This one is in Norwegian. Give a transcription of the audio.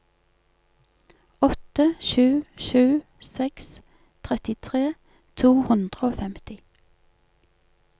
åtte sju sju seks trettitre to hundre og femti